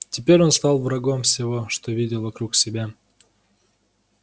теперь он стал врагом всего что видел вокруг себя